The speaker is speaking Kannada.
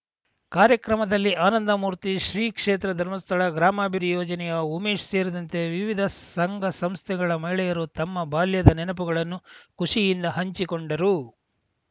ಕಾರ್ಯಕ್ರಮದಲ್ಲಿ ಆನಂದಮೂರ್ತಿ ಶ್ರೀಕ್ಷೇತ್ರ ಧರ್ಮಸ್ಥಳ ಗ್ರಾಮಾಭಿವೃದ್ಧಿ ಯೋಜನೆಯ ಉಮೇಶ್‌ ಸೇರಿದಂತೆ ವಿವಿಧ ಸಂಘ ಸಂಸ್ಥೆಗಳ ಮಹಿಳೆಯರು ತಮ್ಮ ಬಾಲ್ಯದ ನೆನಪುಗಳನ್ನು ಖುಷಿಯಿಂದ ಹಂಚಿಕೊಂಡರು